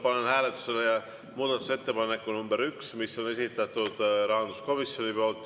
Panen hääletusele muudatusettepaneku nr 1, mis on esitatud rahanduskomisjoni poolt.